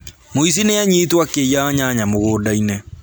Mũici nĩ anyitwo akĩiya nyanya mũgũnda-inĩ